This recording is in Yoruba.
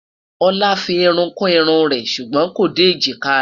olá fí irún kù irún rè sùgbón kò dé ejika rè